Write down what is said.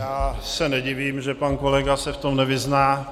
Já se nedivím, že pan kolega se v tom nevyzná.